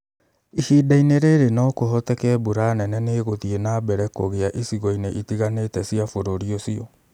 Ihinda-ini͂ ri͂ri͂ no ku͂hoteke mbura nene ni͂ i͂guthii͂ na mbere ku͂gi͂a icigo-ini͂ itigani͂te cia bu͂ru͂ri u͂cio.